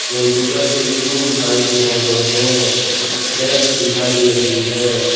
Computer की screen दिखाई दे रहे है सेल्फ दिखाई दे रही है।